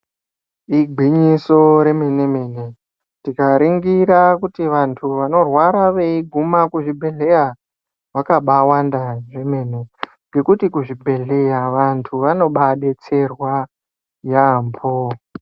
Igwinyiso remene mene tikaringira kuti vantu vanorwara veyi guma kuzvibhedhleya vakabawanda kwemene. Ngekuti kuzvibhedhleya vantu vanobadetserwa yampho